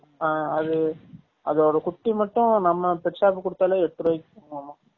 ஆ அது அதோட குட்டி மட்டும் நம்ம pet shop க்கு குடுதாலே எட்டு ருவாய்க்கு போகுமாமா